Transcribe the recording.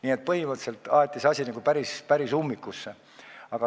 Nii et põhimõtteliselt aeti see asi päris ummikusse.